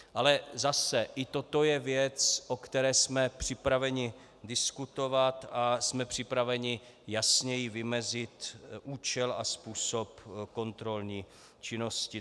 Ale zase, i toto je věc, o které jsme připraveni diskutovat, a jsme připraveni jasněji vymezit účel a způsob kontrolní činnosti.